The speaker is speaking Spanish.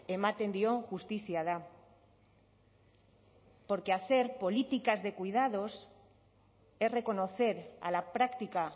ematen dio justizia da porque hacer políticas de cuidados es reconocer a la práctica